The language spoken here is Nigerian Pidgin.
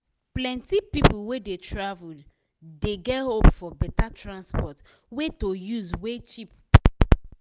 plenti people wey dey travel dey get hope for better transport way to use wey cheap price.